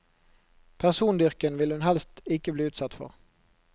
Persondyrking vil hun helst ikke bli utsatt for.